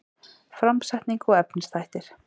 Framsetning og efnisþættir